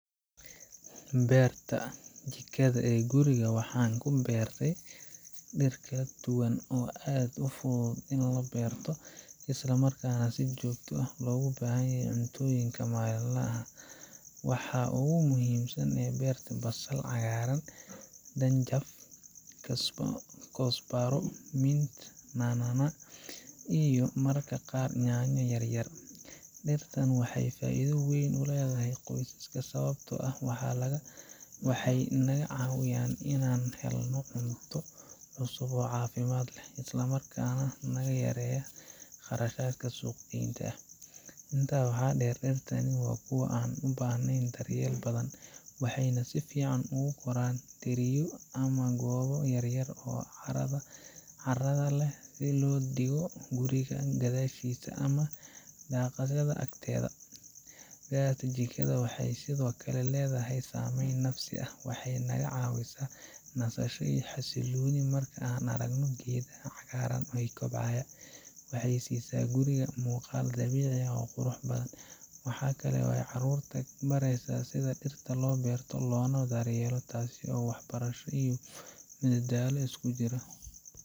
Haa, beerta jikada ee guriga waxaan ku beertay dhir kala duwan oo aad u fudud in la beerto isla markaana si joogto ah loogu baahan yahay cuntooyinka maalinlaha ah. Waxaa ugu muhiimsan oo aan beertay basal cagaaran, dhanjaf koosbaro, minti na’na’a iyo mararka qaar yaanyo yar yar. Dhirtaan waxaa ay faa’iido weyn u leeyihiin qoyska sababtoo ah waxay naga caawiyaan inaan helno cunto cusub oo caafimaad leh, isla markaana naga yareeya kharashka suuq-geynta. Intaa waxaa dheer, dhirtan waa kuwo aan u baahnayn daryeel badan, waxayna si fiican ugu koraan dheriyo ama goobo yar yar oo carrada leh oo la dhigo guriga gadaashiisa ama daaqadda agteeda. Beerta jikada waxay sidoo kale leedahay saameyn nafsi ah, waxay naga caawisaa nasasho iyo xasillooni marka aan aragno geedaha cagaaran ee kobcaya, waxayna siisa guriga muuqaal dabiici ah oo qurux badan. Waxaa kale oo ay carruurta ku baraysaa sida dhirta loo beerto loona daryeelo, taasoo waxbarasho iyo madadaalo iskujiro .